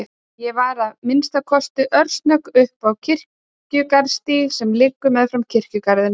Ég var að minnsta kosti örsnögg upp á Kirkjugarðsstíg sem liggur meðfram kirkjugarðinum.